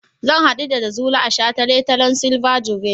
Zan haɗu da Jazuli a shataletalen silver jubilee.